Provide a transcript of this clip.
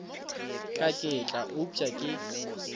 ka ke tla upša ke